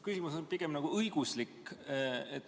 Küsimus on pigem nagu õiguslik.